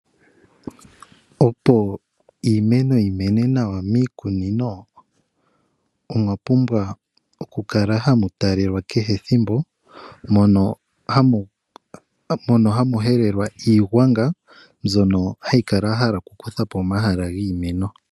Opo iimeno yi mene nawa miikunino omwa pumbwa oku kala hamu talelwa kehe ethimbo mono hamu helelwa iigwanga mbyono hayi kala ya hala kukutha po omahala giimeno.